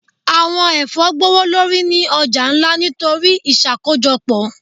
Awọn ẹfọ gbowolori ni ọja nla nitori iṣakojọpọ.